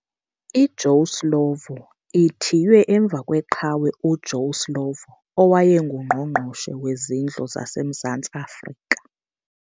IJoe Slovo ithiywe emva kwe qhawe uJoe Slovo owayengu Ngqongqoshe wezindlu zase Mzansi Africa.